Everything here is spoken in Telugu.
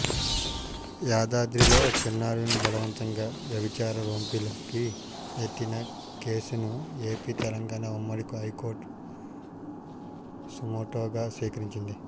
యాదాద్రిలో చిన్నారుల్ని బలవంతంగా వ్యభిచార రొంపిలోకి నెట్టిన కేసును ఏపీ తెలంగాణ ఉమ్మడి హైకోర్టు సుమోటోగా స్వీకరించింది